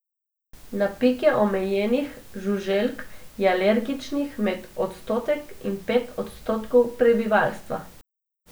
Na pike omejenih žuželk je alergičnih med odstotek in pet odstotkov prebivalstva.